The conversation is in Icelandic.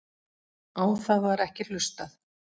Á það var ekki hlustað